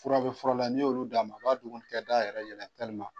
Furaw bɛ fura la n'i y'olu d'a ma a b'a dugunikɛda yɛrɛ yɛlɛma